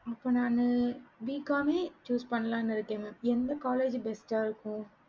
இப்ப நானு BCOM choose பண்ணலான்னு இருக்கேன் எந்த college best இருக்கும்